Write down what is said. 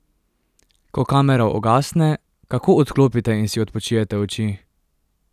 Ko kamera ugasne, kako odklopite in si odpočijete oči?